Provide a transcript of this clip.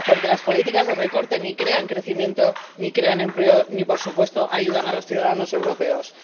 Porque las políticas de recorte ni crean crecimiento ni crean empleo ni, por supuesto, ayudan a los ciudadanos europeos.